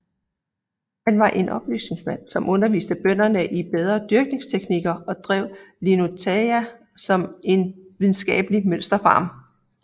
Han var en oplysningsmand som underviste bønderne i bedre dyrkingsteknikker og drev Linnutaja som en videnskabelig mønsterfarm